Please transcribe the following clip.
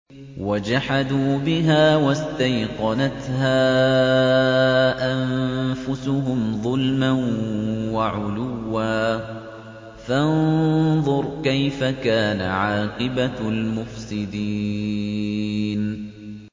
وَجَحَدُوا بِهَا وَاسْتَيْقَنَتْهَا أَنفُسُهُمْ ظُلْمًا وَعُلُوًّا ۚ فَانظُرْ كَيْفَ كَانَ عَاقِبَةُ الْمُفْسِدِينَ